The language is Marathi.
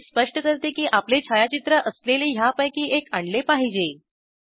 ते स्पष्ट करते की आपले छायाचित्र असलेले ह्यापैकी एक आणले पाहिजे